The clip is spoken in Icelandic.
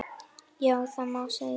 Já, það má segja.